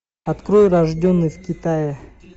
открой рожденный в китае